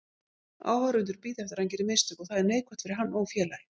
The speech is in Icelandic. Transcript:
Áhorfendur bíða eftir að hann geri mistök og það er neikvætt fyrir hann og félagið.